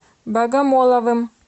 богомоловым